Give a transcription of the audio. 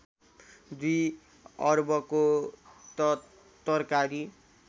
२ अर्बको त तरकारी